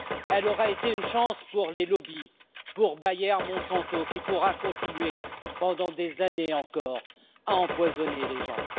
elle aura été une chance pour les lobbies, pour Bayer-Monsanto, qui pourra continuer pendant des années encore à empoisonner les gens